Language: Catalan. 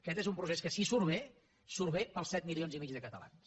aquest és un procés que si surt bé surt bé per als set milions i mig de catalans